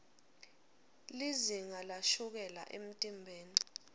lizinga lashukela emtimbeni